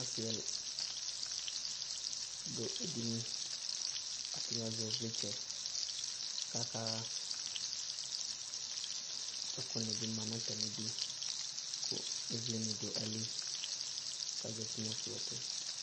Asɩ ɛla dʋ edini Atanɩ azɛ ɩvlɩtsɛ kʋ akaɣa Ɛkʋnɩ bɩ ma nʋ atamɩdu kʋ ɩvlɩnɩ dʋ ayili kʋ azati nʋ ɛkplɔ tʋ